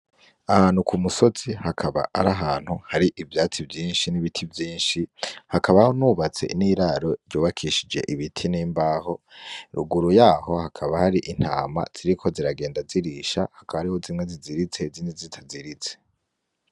Ahantu ku musozi hakaba ari ahantu, hari ivyatsi vyinshi n'ibiti vyinshi, hakabaho nubatse n'iraro ry'ubakishije ibiti n'imbaho. Ruguru yaho haka hari intama ziriko ziragenda zirisha, hakaba hariho zimwe ziziritse n'izindi zitaziritse.